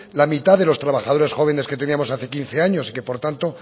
la mitad de los trabajadores jóvenes que teníamos hace quince años y que por tanto